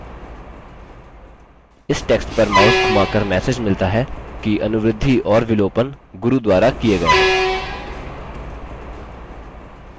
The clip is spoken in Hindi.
इस टेक्स्ट पर माउस धुमाकर मैसेज मिलता है कि अनुवृद्धि और विलोपन गुरू द्वारा किये गये हैं